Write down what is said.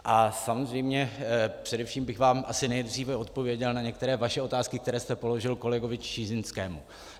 A samozřejmě především bych vám asi nejdříve odpověděl na některé vaše otázky, které jste položil kolegovi Čižinskému.